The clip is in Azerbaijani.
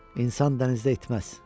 İnsan dənizdə itməz.